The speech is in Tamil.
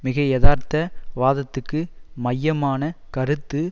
மிகையதார்த்த வாதத்துக்கு மையமான கருத்து